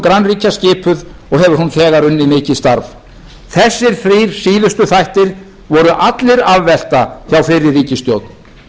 grannríkja skipuð og hefur hún þegar unnið mikið starf þessir þrír síðustu þættir voru allir afvelta hjá fyrri ríkisstjórn